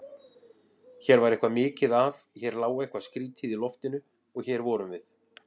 Hér var eitthvað mikið að, hér lá eitthvað skrýtið í loftinu- og hér vorum við.